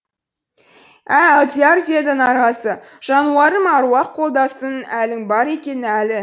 ә алдияр деді нарғазы жануарым аруақ қолдасын әлің бар екен әлі